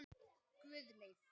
Guðleif